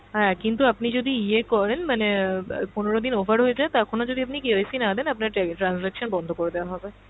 হ্যাঁ কিন্তু আপনি যদি ইয়ে করেন মানে অ্যাঁ প~ পনেরো দিন over হয়ে যায় তখনও যদি আপনি KYC না দেন আপনার টে~ transaction বন্ধ করে দেওয়া হবে।